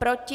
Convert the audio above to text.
Proti?